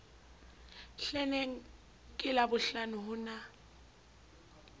hleneng ke labohlano ho na